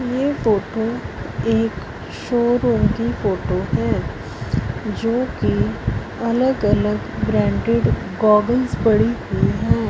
ये फोटो एक शोरूम की फोटो हैं जो की अलग अलग ब्रांडेड गॉगल्स पड़ी हुई हैं।